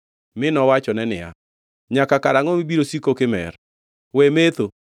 mi nowachone niya, “Nyaka karangʼo mibiro siko kimer?” We metho.